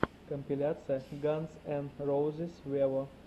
компиляция ганз эн роузиз вево